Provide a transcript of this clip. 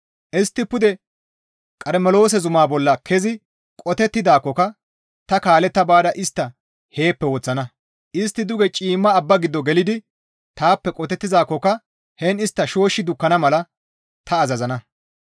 Istti pude Qarmeloose zumaa bolla kezi qotettidaakkoka ta kaaletta baada istta heeppe woththana; istti duge ciimma abba giddo gelidi taappe qotettizaakkoka heen istta shooshshi dukkana mala ta azazana.